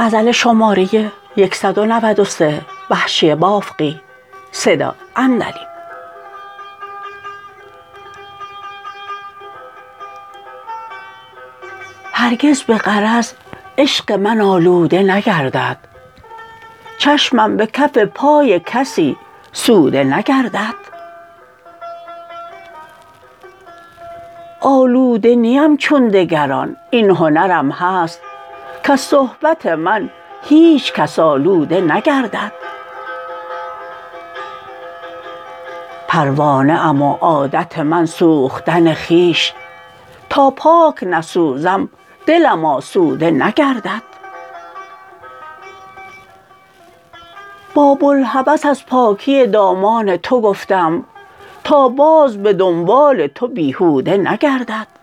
هرگز به غرض عشق من آلوده نگردد چشمم به کف پای کسی سوده نگردد آلوده نیم چون دگران این هنرم هست کز صحبت من هیچکس آلوده نگردد پروانه ام و عادت من سوختن خویش تا پاک نسوزم دلم آسوده نگردد با بلهوس از پاکی دامان تو گفتم تا باز به دنبال تو بیهوده نگردد